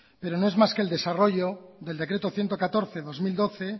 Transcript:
pero no es más que el desarrollo del decreto ciento catorce barra dos mil doce